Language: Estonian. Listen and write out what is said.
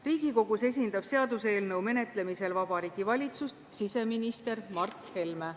Riigikogus esindab seaduse eelnõu menetlemisel Vabariigi Valitsust siseminister Mart Helme.